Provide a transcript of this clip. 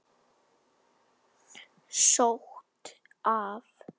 Sótt af